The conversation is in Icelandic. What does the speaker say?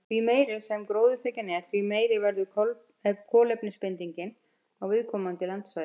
Því meiri sem gróðurþekjan er, því meiri verður kolefnisbindingin á viðkomandi landsvæði.